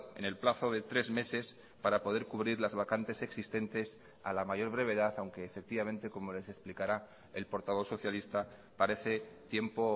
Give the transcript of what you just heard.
en el plazo de tres meses para poder cubrir las vacantes existentes a la mayor brevedad aunque efectivamente como les explicará el portavoz socialista parece tiempo